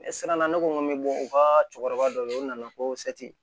Ne siranna ne ko n ko n bɛ bɔ u ka cɛkɔrɔba dɔ fɛ yen o nana ko